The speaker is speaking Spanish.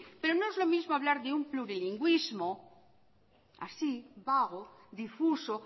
pero no es lo mismo hablar de un plurilingüismo así vago difuso